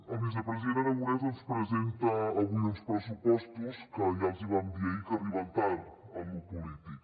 el vicepresident aragonès ens presenta avui uns pressupostos que ja els vam dir ahir que arriben tard en lo polític